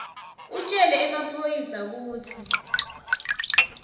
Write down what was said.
utjele emaphoyisa kutsi